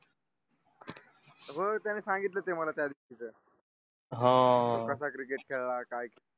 हो त्यांनी सांगितलं ते मला त्या दिवशी च हं तो कसा cricket खेळा काय